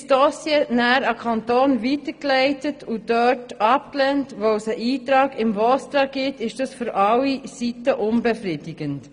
Wird das Dossier an den Kanton weitergeleitet und dort wegen eines VOSTRA-Eintrags abgelehnt, ist dies für alle Seiten unbefriedigend.